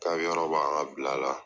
K'a bɛ yɔrɔ an ka bila la.